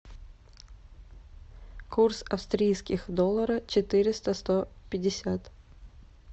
курс австрийских доллара четыреста сто пятьдесят